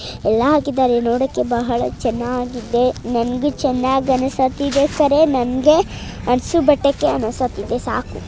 ಎಲ್ಲಾ ಹಾಕಿದ್ದಾರೆ ನೋಡಕ್ಕೆ ಬಹಳ ಚೆನ್ನಾಗಿದೆ ನಂಗೂ ಚೆನ್ನಾಗಿ ಅನಿಸುತ್ತಿದೆ ನಂದೇ ಸಾಕು.